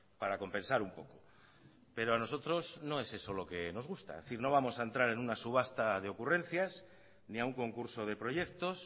para compensar un poco pero a nosotros no es eso lo que nos gusta es decir no vamos a entrar en una subasta de ocurrencias ni a un concurso de proyectos